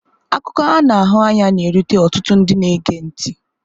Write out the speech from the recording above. Akụkọ a na-ahụ anya na-erute ọtụtụ ndị na-ege ntị.